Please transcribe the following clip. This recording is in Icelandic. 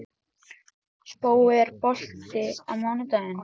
Spói, er bolti á mánudaginn?